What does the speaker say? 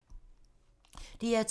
DR2